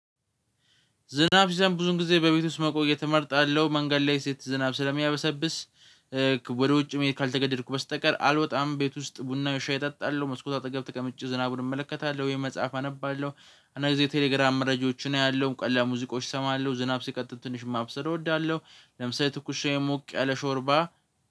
ዝናብ ሲዘንብ ብዙን ጊዜ በቤት ውስጥ መቆየት እመርጣለሁ መንገድ ላይ ሴት ዝናብ ስለሚያበሰብስ ወደ ውጭ መሄድ ካልተገደድኩ በስተቀር አልወጣም። ቤት ውስጥ ቡና ወይ ሻይ እጠጣለሁ መስኮት አጠገብ ተቀምጨ ዝናቡን እመለከታለሁ ወይ መጽሐፍ አነባለሁ። አንዳ አንድ ጊዜ ቴሌግራም መረጃዎችን አያለው ቀላል ሙዚቃዎች እሰማለሁ ዝናብ ሲቀጥል ትንሽ ማብሰል እወዳለሁ። ለምሳሌ ትኩስ ሞቅ ያለ ሾርባ